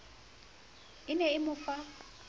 e ne e mo fa